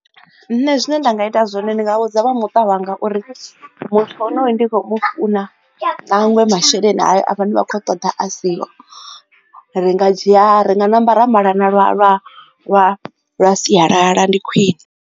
Nṋe zwine nda nga ita zwone ndi nga vhudza vha muṱa wanga uri muthu honuyu ndi khou funa nangwe masheleni hayo a ne vha khou a ṱoḓa a siho. Ri nga dzhia ri nga ṋamba ra malana lwa lwa lwa sialala ndi khwine.